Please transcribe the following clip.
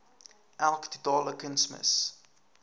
elk totale kunsmis